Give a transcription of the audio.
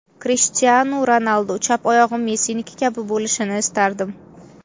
Krishtianu Ronaldu: chap oyog‘im Messiniki kabi bo‘lishini istardim.